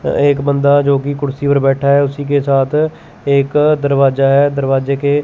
एक बंदा जोकि कुर्सी पर बैठा है उसी के साथ एक दरवाजा है दरवाजे के--